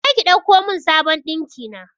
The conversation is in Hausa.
Je ki ɗauko mun sabon ɗinkina